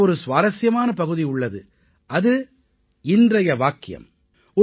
இதிலே ஒரு சுவாரசியமான பகுதி உள்ளது அது இன்றைய வாக்கியம்